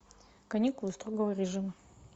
каникулы строгого режима